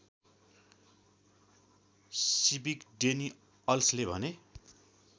सिविकडेनिअल्सले भने